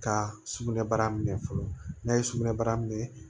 Ka sugunɛ bara minɛ fɔlɔ n'a ye sugunɛbara minɛ